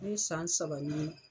Ne san saba ni